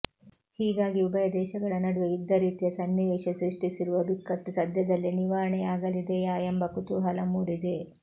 ಹೀಗಾಗಿ ಉಭಯ ದೇಶಗಳ ನಡುವೆ ಯುದ್ಧ ರೀತಿಯ ಸನ್ನಿವೇಶ ಸೃಷ್ಟಿಸಿರುವ ಬಿಕ್ಕಟ್ಟು ಸದ್ಯದಲ್ಲೇ ನಿವಾರಣೆಯಾಗಲಿದೆಯಾ ಎಂಬ ಕುತೂಹಲ ಮೂಡಿದೆ